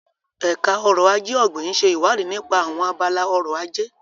Ẹ̀ka Ọrọ̀ Ajé Ọ̀gbìn ń ṣe ìwádìí nípa àwọn abala ọrọ̀ ajé.